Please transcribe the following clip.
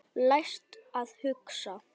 Lært að hugsa.